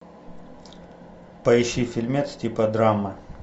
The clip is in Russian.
поищи фильмец типа драмы